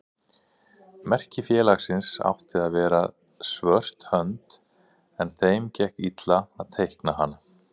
Merki félagsins átti að vera svört hönd en þeim gekk illa að teikna hana.